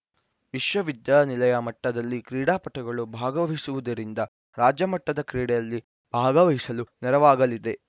ವಿಶ್ವವಿದ್ಯಾನಿಲಯ ಮಟ್ಟದಲ್ಲಿ ಕ್ರೀಡಾಪಟುಗಳು ಭಾಗವಹಿಸುವುದರಿಂದ ರಾಜ್ಯ ಮಟ್ಟದ ಕ್ರೀಡೆಯಲ್ಲಿ ಭಾಗವಹಿಸಲು ನೆರವಾಗಲಿದೆ